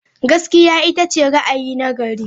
Gaskiya ita ce ra'ayi na gari.